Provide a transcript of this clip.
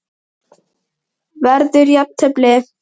Verður jafntefli?